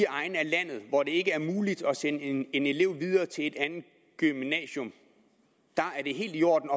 egne af landet hvor det ikke er muligt at sende en elev videre til et andet gymnasium er det helt i orden